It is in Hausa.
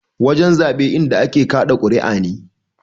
Wajen zaɓe inda a ke kaɗa kuriya ne.